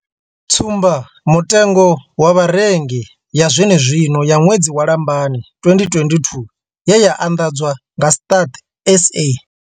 Tsumba mutengo wa Vharengi ya zwenezwino ya ṅwedzi wa Lambamai 2022 ye ya anḓadzwa nga Stats SA.